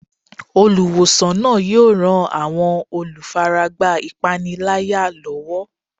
Olùwòsàn náà yóò ran àwọn olùfaragbá ìpániláyà lọ́wọ́.